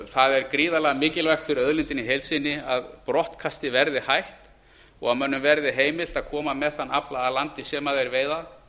það er gríðarlega mikilvægt fyrir auðlindina í heild sinni að brottkasti verði hætt og að mönnum verði heimilt að koma með þann afla að landi sem þeir veiða